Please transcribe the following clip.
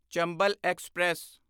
Chambal express